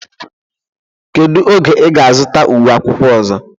Kedu oge ị ga-azụta uwe akwụkwọ ọzọ?